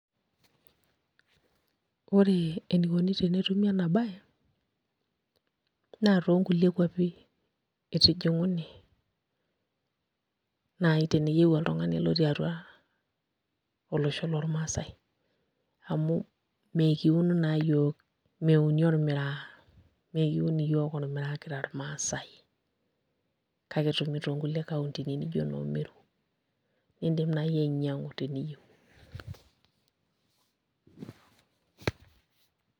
Ore enikoni tenetumi enabae, naa tonkulie kwapi itijing'uni, nai teniyieu oltung'ani lotii atua olosho lormasai, amu mekiun naa yiok, meuni ormiraa, mekiun iyiok ormiraa kira irmaasai. Kake etumito nkulie kauntini nijo noo Meru, idim nai ainyang'u teniyieu.